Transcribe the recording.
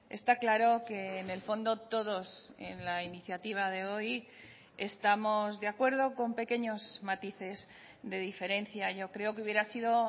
está claro que en el fondo todos en la iniciativa de hoy estamos de acuerdo con pequeños matices de diferencia yo creo que hubiera sido